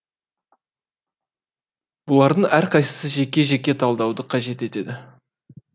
бұлардың әрқайсысы жеке жеке талдауды қажет етеді